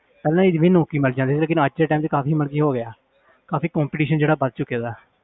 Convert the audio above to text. ਪਹਿਲਾਂ ਇਹ ਸੀ ਵੀ ਨੌਕਰੀ ਮਿਲ ਜਾਂਦੀ ਸੀ ਲੇਕਿੰਨ ਅੱਜ ਦੇ time 'ਚ ਕਾਫ਼ੀ ਮਤਲਬ ਹੋ ਗਿਆ ਕਾਫ਼ੀ competition ਜਿਹੜਾ ਵੱਧ ਚੁੱਕਿਆ।